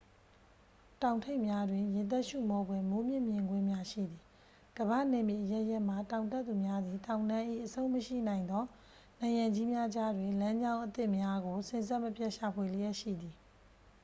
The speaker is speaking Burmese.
တောင်ထိပ်များတွင် ရင်သပ်ရှုမောဖွယ် မိုးမြင့် မြင်ကွင်းများ ရှိသည် ကမ္ဘာ့နယ်မြေ အရပ်ရပ်မှ တောင်တက်သူများသည် တောင်တန်း၏ အဆုံးမရှိနိုင်သော နံရံကြီးများကြားတွင် လမ်းကြောင်းအသစ်များကို စဉ်ဆက်မပြတ် ရှာဖွေလျက်ရှိသည်